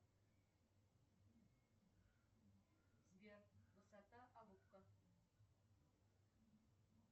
сбер высота алупка